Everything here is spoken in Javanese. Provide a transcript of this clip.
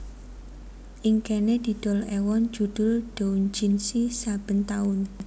Ing kéné didol èwon judhul doujinshi saben taun